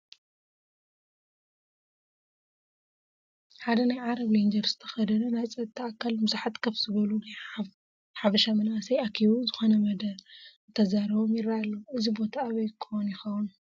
ሓደ ናይ ዓረብ ሌንጀር ዝተኸደነ ናይ ፀጥታ ኣካል ንብዙሓት ከፍ ዝበሉ ናይ ሓበቫ መናእሰይ ኣኪቡ ዝኾነ መደረ እንትዛረቦም ይረአ ኣሎ፡፡ እዚ ቦታ ኣበይ ኮን ይኾን?